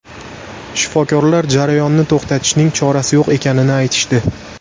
Shifokorlar jarayonni to‘xtatishning chorasi yo‘q ekanini aytishdi.